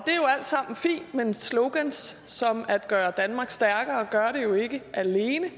sammen fint men slogans som at gøre danmark stærkere gør det jo ikke alene